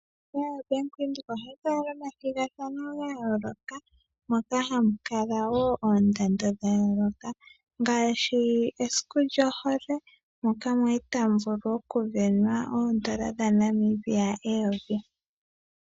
Ombaanga ya Bank Windhoek ohayi kala nomathigathano ga yooloka moka hamu kala wo oondando dha yooloka, ngaashi mesiku lyohole moka mwali tamu sindanwa N$1000.